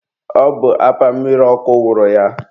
ọ bụ apa mmiri ọkụ wụrụ ya.